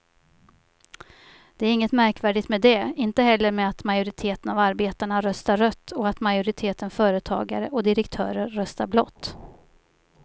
Det är inget märkvärdigt med det, inte heller med att majoriteten av arbetarna röstar rött och att majoriteten företagare och direktörer röstar blått.